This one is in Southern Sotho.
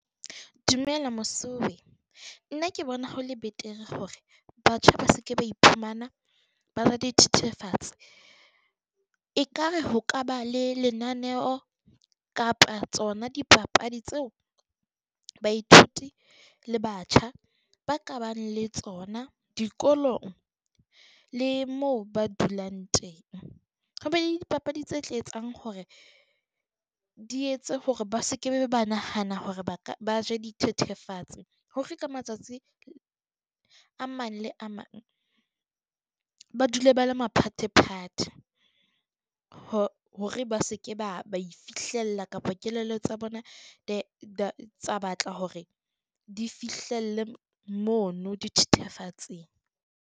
Dumela mosuwe, nna ke bona ho le betere hore batjha ba se ke ba iphumana ba ja dithethefatsi. Ekare ho ka ba le lenaneo kapa tsona dipapadi tseo baithuti le batjha ba ka bang le tsona dikolong. Le moo ba dulang teng, ho be le dipapadi tse tla etsang hore di etse hore ba se ke be ba nahana hore ba ka ba je dithethefatsi. Ho hloka matsatsi a mang le a mang, ba dule ba le maphathephathe hore ba se ke ba ba e fihlella kapa kelello tsa bona tsa batla hore di fihlelle mono dithethefatsing.